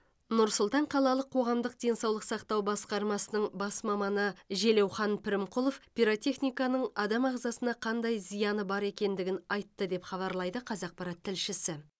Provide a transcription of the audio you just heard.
нұр сұлтан қалалық қоғамдық денсаулық сақтау басқармасының бас маманы желеухан пірімқұлов пиротехниканың адам ағзасына қандай зияны бар екендігін айтты деп хабарлайды қазақпарат тілшісі